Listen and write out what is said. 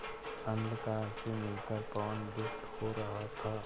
अंधकार से मिलकर पवन दुष्ट हो रहा था